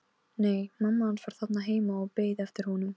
Nei, mamma hans var þarna heima og beið eftir honum.